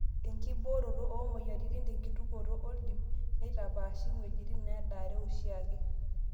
Enkibooroto oomoyiaritin tenkituokoto ooldiip neitapashi ng'wejitin needare oshiake.